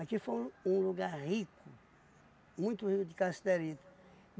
Aqui foi um lugar rico, muito rico de cassiterita.